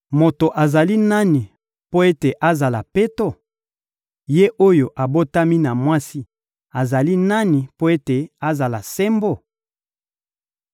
Moto azali nani mpo ete azala peto? Ye oyo abotami na mwasi azali nani mpo ete azala sembo?